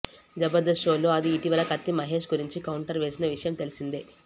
జబర్దస్త్ షోలో ఆది ఇటీవల కత్తి మహేష్ గురించి కౌంటర్ వేసిన విషయం తెల్సిందే